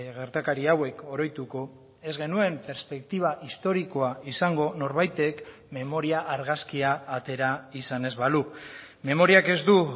gertakari hauek oroituko ez genuen perspektiba historikoa izango norbaitek memoria argazkia atera izan ez balu memoriak ez du